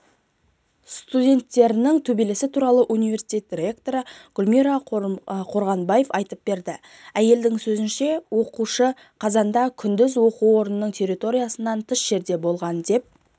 студенттерінің төбелесі туралы университет ректоры гүлмира қорғанбаева айтып берді әйелдің сөзінше оқиға қазанда күндіз оқу орнының территориясынан тыс жерде болған деп